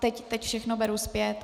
Teď všechno beru zpět.